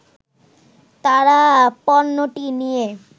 তারা পণ্যটি নিয়ে